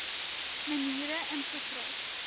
maniere ingegryp